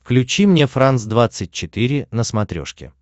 включи мне франс двадцать четыре на смотрешке